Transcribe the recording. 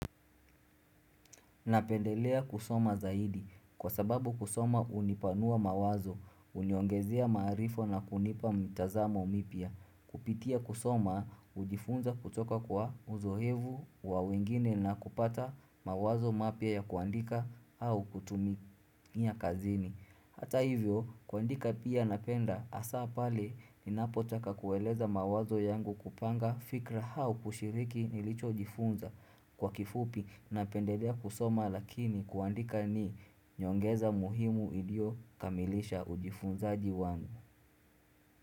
Napendelea kusoma zaidi. Kwa sababu kusoma unipanua mawazo. Uniongezea maarifa na kunipa mitazamo mipya Kupitia kusoma, ujifunza kutoka kwa uzoevu wa wengine na kupata mawazo mapya ya kuandika au kutumia kazini. Hata hivyo kuandika pia napenda asa pale ninapotaka kueleza mawazo yangu kupanga fikra au kushiriki nilicho jifunza kwa kifupi na pendedea kusoma lakini kuandika ni nyongeza muhimu ilio kamilisha ujifunzaaji wangu.